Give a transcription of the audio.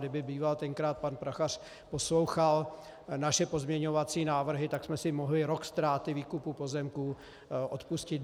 Kdyby býval tenkrát pan Prachař poslouchal naše pozměňovací návrhy, tak jsme si mohli rok ztráty výkupu pozemků odpustit.